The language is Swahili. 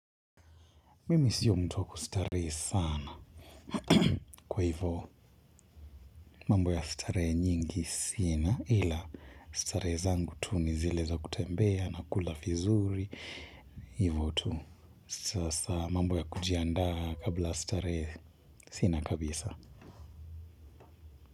Mimi siyo mtu wa kustarehe sana kwa hivyo mambo ya starehe nyingi sina ila starehe zangu tu ni zile za kutembea na kula vizuri hivyo tu sasa mambo ya kujiandaa kabla ya starehe sina kabisa.